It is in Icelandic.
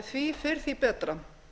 því fyrr því betra